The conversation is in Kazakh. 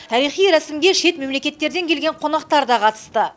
тарихи рәсімге шет мемлекеттерден келген қонақтар да қатысты